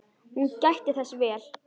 Hún gætti þess vel.